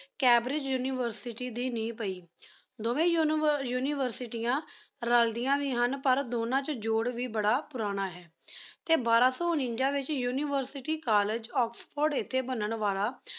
ਕੈਬ੍ਰੀ university ਦੀ ਨੀ ਪੈ ਦੋਉਵ੍ਯਨ ਉਨਿਵੇਸ੍ਤੇਆਂ ਰਾਲ੍ਦੇਆਯਨ ਵੇ ਹੁਣ ਪਰ ਦੋਨਾ ਚ ਜੋਰ ਵੇ ਬਾਰਾ ਪੁਰਾਨ ਹੈਂ ਟੀ ਬਾਰਾਂ ਸੋ ਨਾਨਿਗਾ ਡੀ ਵੇਚ University College Oxford ਬਣਨ ਵਾਲਾ